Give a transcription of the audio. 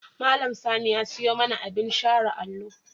Malam Sani ya siyo mana abin share allo.